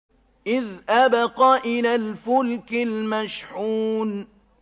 إِذْ أَبَقَ إِلَى الْفُلْكِ الْمَشْحُونِ